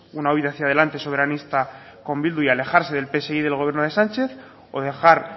una huida hacia adelante soberanista con bildu y alejarse del psoe del gobierno de sánchez o dejar